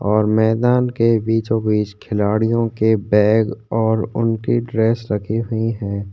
और मैदान के बीचों बीच खिलाड़ियों के बैग और उनकी ड्रेस रखी हुई है।